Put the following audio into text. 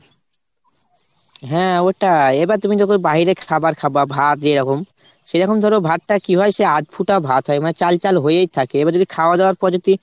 হ্যাঁ ওটাই। এবার তুমি যখন বাহিরের খাবার খাবা ভাত যেরকম সেরকম ধরো ভাত তা কি হয় সে আধফুটা ভাত হয়। মানে চাল চাল হয়েই থাকে। এবার যদি খাওয়া দাওয়ার পর যদি